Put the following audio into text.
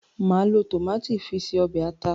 Màá lo tòmátò fi se ọ̀bẹ̀ ata.